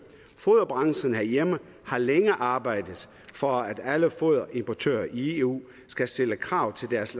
foderbranchen herhjemme har længe arbejdet for at alle foderimportører i eu skal stille krav til deres